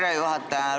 Härra juhataja!